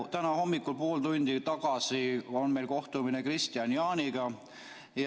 Täna hommikul, pool tundi tagasi oli meil kohtumine Kristian Jaaniga.